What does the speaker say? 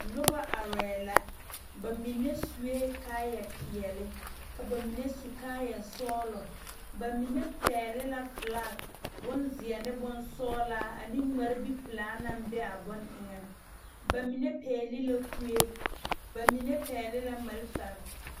Noba arɛɛ la ba mine sue kaayapeɛle ka ba mine su kaayasɔglɔ ba mine pɛgle la filagi bonzeɛ ne bonsɔglaa ane ŋmaribipelaa naŋ be a bone eŋɛŋ bs mine pɛgle la kue ba mine pɛgle la malfare.